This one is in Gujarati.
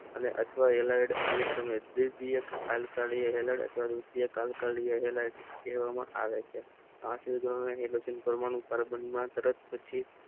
અને ઇથાઇલ આલ્કાઇલ કહેવામાં આવે છે કાર્બનમાં તટસ્થ છે